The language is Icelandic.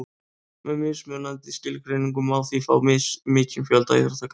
með mismunandi skilgreiningum má því fá mismikinn fjölda íþróttagreina